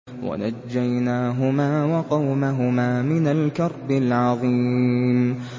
وَنَجَّيْنَاهُمَا وَقَوْمَهُمَا مِنَ الْكَرْبِ الْعَظِيمِ